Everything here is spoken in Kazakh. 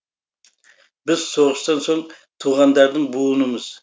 біз соғыстан соң туғандардың буынымыз